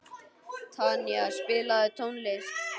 Tanía, spilaðu tónlist.